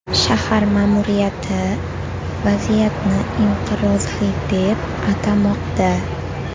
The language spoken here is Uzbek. Shahar ma’muriyati vaziyatni inqirozli deb atamoqda.